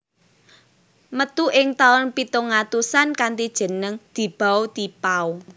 Metu ing tahun pitung atusan kanthi jeneng Di Bao Ti Pao